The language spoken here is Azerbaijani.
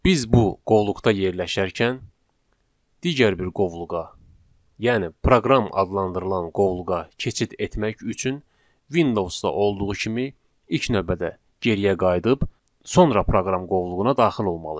Biz bu qovluqda yerləşərkən digər bir qovluğa, yəni proqram adlandırılan qovluğa keçid etmək üçün Windows-da olduğu kimi ilk növbədə geriyə qayıdıb sonra proqram qovluğuna daxil olmalıyıq.